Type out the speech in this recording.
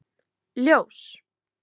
Ljós